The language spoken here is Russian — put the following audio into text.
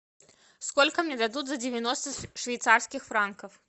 сколько мне дадут за девяносто швейцарских франков